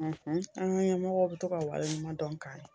an ka ɲɛmɔgɔw bɛ to ka waleɲumandɔn k'an ye.